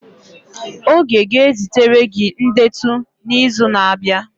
Oge ga-ezitere gị ndetu n'izu na-abịa